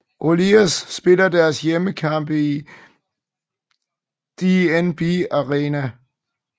Oilers spiller deres hjemmekampe i DNB Arena